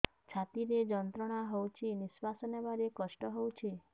ଛାତି ରେ ଯନ୍ତ୍ରଣା ହଉଛି ନିଶ୍ୱାସ ନେବାରେ କଷ୍ଟ ହଉଛି